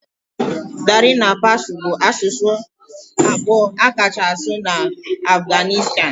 Dari na Pashto bụ asụsụ abụọ akachasi asụ n'obodo Afghanistan.